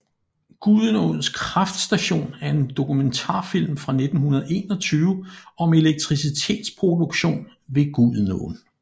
Gudenaaens Kraftstation er en dokumentarfilm fra 1921 om elektricitetsproduktion ved Gudenåen